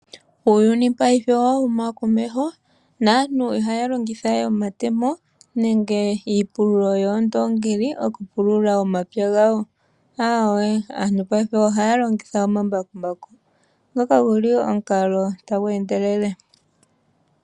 Uuyuni paife owa huma komeho naantu ihaya longitha we omatemo nenge iipululo yoondongi okupulula omapya gawo, aawe aantu paife ohaya longitha omambakumbaku ngoka guli omukalo tagu endelele.